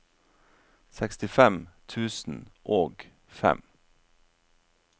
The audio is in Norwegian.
sekstifem tusen og fem